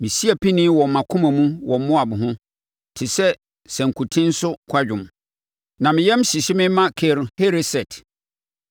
Mesi apinie wɔ mʼakoma mu wɔ Moab ho te sɛ sankuten so kwadwom; na me yam hyehye me ma Kir Hereset.